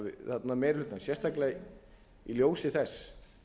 meiri hlutann sérstaklega í ljósi þess